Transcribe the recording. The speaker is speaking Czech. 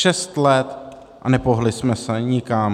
Šest let, a nepohnuli jsme se nikam.